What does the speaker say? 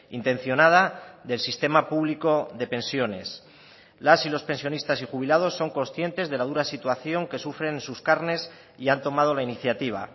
intencionada del sistema público de pensiones las y los pensionistas y jubilados son conscientes de la dura situación que sufren en sus carnes y han tomado la iniciativa